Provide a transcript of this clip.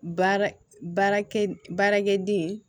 Baara baarakɛ baarakɛden